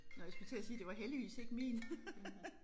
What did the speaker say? Nåh jeg skulle til at sige det var heldigvis ikke min